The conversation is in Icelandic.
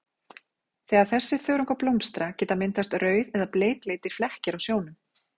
Þegar þessir þörungar blómstra geta myndast rauð- eða bleikleitir flekkir á sjónum.